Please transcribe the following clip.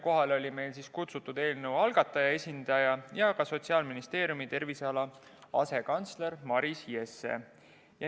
Kohale olid kutsutud eelnõu algataja esindaja ja Sotsiaalministeeriumi terviseala asekantsler Maris Jesse.